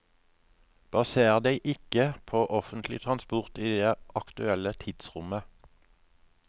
Baser deg ikke på offentlig transport i det aktuelle tidsrommet.